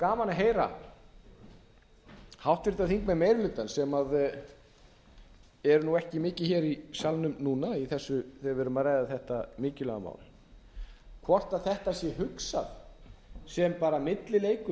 gaman að heyra háttvirtir þingmenn meiri hlutans sem eru nú ekki mikið hér í salnum núna þegar við erum að ræða þetta mikilvæga mál hvort þetta sé hugsað sem bara millileikur